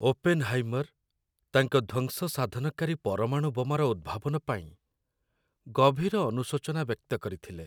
Oppenheimer ତାଙ୍କ ଧ୍ଵଂସ ସାଧନକାରୀ ପରମାଣୁ ବୋମାର ଉଦ୍ଭାବନ ପାଇଁ ଗଭୀର ଅନୁଶୋଚନା ବ୍ୟକ୍ତ କରିଥିଲେ।